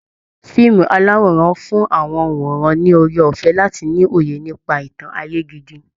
Fíìmù aláwòrán ń fún àwọn òǹwòran ní oore ọ̀fẹ́ láti ni òye nípa ìtàn ayé gidi